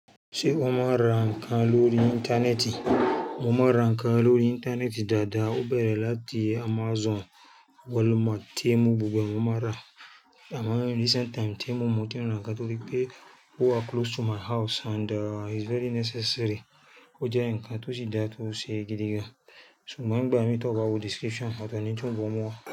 Ṣé o máa ń ra nǹkan lórí Íńtánẹ́ẹ̀tì? Mo máa ń ra nǹkan lórí Íńtánẹ́ẹ̀tì dáadáa. Ó bẹ̀rẹ̀ láti Amazon, Walmart, Temu, gbogbo ẹ̀ mo máa n ra. Àmá recent time Temu mo ti ń ra nǹkan torí pé ó wa close to my house and it's very necessary. Ó jẹ́ nǹkan tó si dá tó ṣe gidi gan. So mo ń gbà mí tó bá wo description, ọ̀tọ̀ ni tí wọ́n bọ̀ wá.